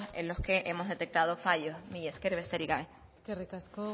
en los que hemos detectado fallos mila esker besterik gabe eskerrik asko